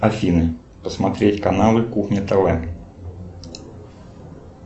афина посмотреть каналы кухня тв